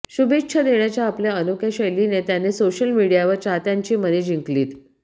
शुभेच्छा देण्याच्या आपल्या अनोख्या शैलीने त्याने सोशल मीडियावर चाहत्यांची मने जिंकलीत